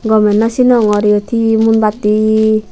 gomey naw sinongor yot hee munbatti.